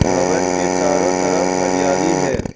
भवन के चारों तरफ हरियाली है।